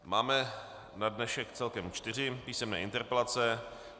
Máme na dnešek celkem čtyři písemné interpelace.